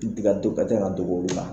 I ka to ka taga ka to k'o dilan.